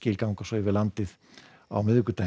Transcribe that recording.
ganga svo yfir landið á miðvikudaginn